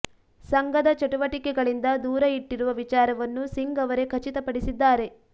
ಸಂಘದ ಚಟುವಟಿಕೆಗಳಿಂದ ದೂರ ಇಟ್ಟಿರುವ ವಿಚಾರವನ್ನು ಸಿಂಗ್ ಅವರೇ ಖಚಿತ ಪಡಿಸಿದ್ದಾರೆ